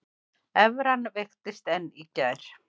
Evran veiktist enn í gær